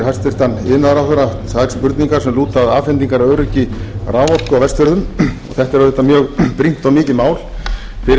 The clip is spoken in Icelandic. hæstvirtur iðnaðarráðherra tvær spurningar sem lúta að afhendingaröryggi raforku á vestfjörðum þetta er auðvitað mjög brýnt og mikið mál fyrir